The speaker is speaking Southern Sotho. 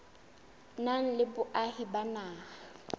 nang le boahi ba naha